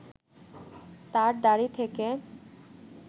তার দাড়ি থেকে